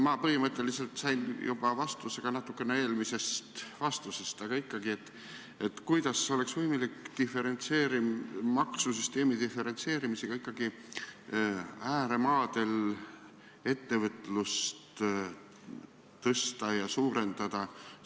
Ma põhimõtteliselt sain juba vastuse ka natukene eelmisest vastusest, aga ikkagi: kuidas oleks ikkagi võimalik maksusüsteemi diferentseerimisega ääremaadel ettevõtlust kasvatada ja suurendada?